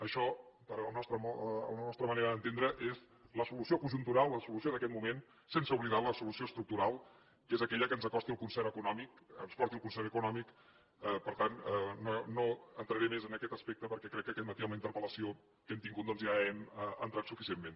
això a la nostra manera d’entendre és la solució conjuntural la solució d’aquest moment sense oblidar la solució estructural que és aquella que ens acosti al concert econòmic ens porti al concert econòmic per tant no entraré més en aquest aspecte perquè crec que aquest matí amb la interpel·lació que hem tingut doncs ja hi hem entrat suficientment